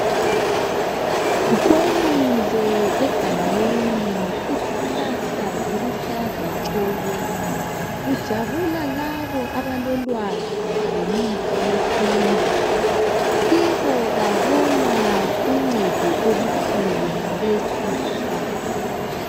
Kwenile egangeni, izihlahla ziluhlaza tshoko! Kujabula labo abalolwazi ngemithi yesintu. Kibo babona uncedo olukhulu ngalezi izihlahla.